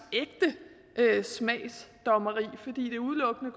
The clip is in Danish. ægte smagsdommeri fordi det udelukkende